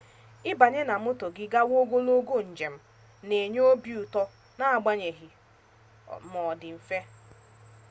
ibanye na moto gi gawa ogologo njem na enye obi uto n'agbanyeghina o di mfe